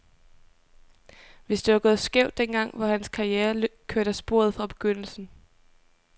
Hvis det var gået skævt den gang, var hans karriere kørt af sporet fra begyndelsen.